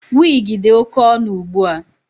Wigi dị oke ọnụ ugbua.